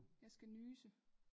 Jeg skal nyse